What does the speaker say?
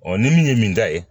ni min ye min ta ye